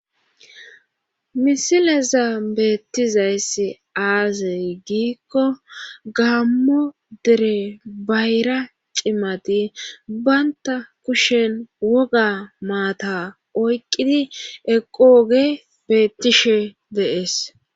misileza beettizayssi aaze giikko gammo dere bayra cimati baynta kushen woga maata oyqqidi eqogey beettishe de'ees